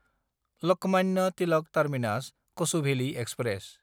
Lokmanya Tilak टार्मिनास–कछुभेलि express